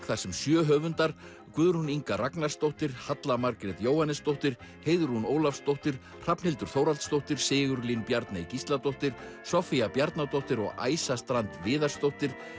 þar sem sjö höfundar Guðrún Inga Ragnarsdóttir Halla Margrét Jóhannesdóttir Heiðrún Ólafsdóttir Hrafnhildur Þórhallsdóttir Sigurlín Bjarney Gísladóttir Soffía Bjarnadóttir og Æsa strand Viðarsdóttir